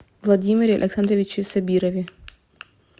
владимире александровиче сабирове